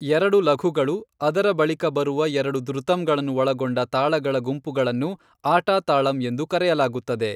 ಎರಡು ಲಘುಗಳು ಅದರ ಬಳಿಕ ಬರುವ ಎರಡು ದ್ರುತಂಗಳನ್ನು ಒಳಗೊಂಡ ತಾಳಗಳ ಗುಂಪುಗಳನ್ನು ಆಟಾ ತಾಳಂ ಎಂದು ಕರೆಯಲಾಗುತ್ತದೆ